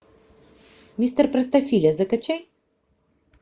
мистер простофиля закачай